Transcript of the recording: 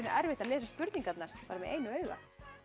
erfitt að lesa spurningarnar bara með einu auga